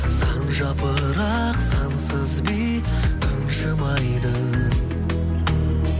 сан жапырақ сансыз би тыншымайды